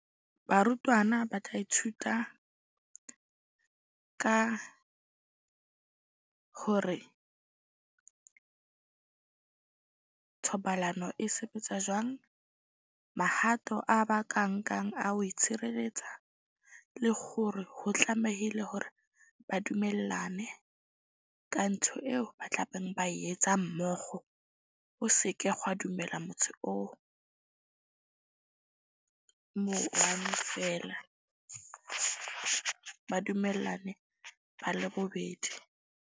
Barutwana ba tla ithuta ka hore thobalano e sebetsa jwang. Mahato a ba ka nkang a ho itshireletsa le hore ho tlamehile hore ba dumellane ka ntho eo ba tlabeng ba etsa mmokgo. Ho seke dumela motho o mo one feela ba dumellane ba le bobedi.